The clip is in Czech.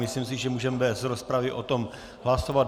Myslím si, že můžeme bez rozpravy o tom hlasovat.